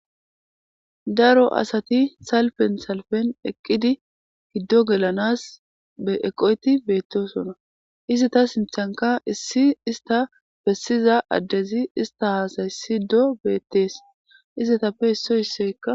daro asati salfen salfen eqqidi hiddo gelanas eeqoyti beettosona izi ta sinthanka issi ista bessiza addezi ista haasayssido beettees izetappe isso isseykka